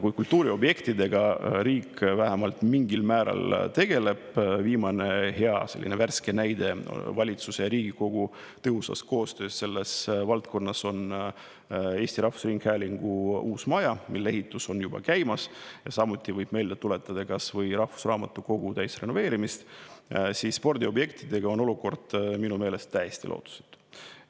Kui kultuuriobjektidega riik vähemalt mingil määral tegeleb – viimane selline hea näide valitsuse ja Riigikogu tõhusa koostöö kohta selles valdkonnas on Eesti Rahvusringhäälingu uus maja, mille ehitus on juba käimas, samuti võib meelde tuletada kas või rahvusraamatukogu täisrenoveerimist –, siis spordiobjektidega on olukord minu meelest täiesti lootusetu.